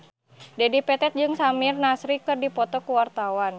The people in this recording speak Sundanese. Dedi Petet jeung Samir Nasri keur dipoto ku wartawan